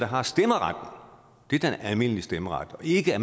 har stemmeret dét er den almindelige stemmeret og ikke at